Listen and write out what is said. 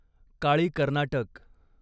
काळी कर्नाटक